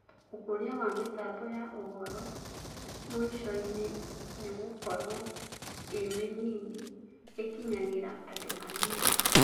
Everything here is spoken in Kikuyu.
ũkũria wa mĩtambo ya ũhoro, mũicoinĩ, nĩgũkorwo ĩmĩnini, ĩkinyagĩra andũ anini.